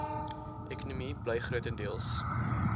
ekonomie bly grotendeels